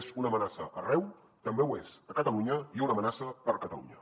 és una amenaça arreu també ho és a catalunya i una amenaça per a catalunya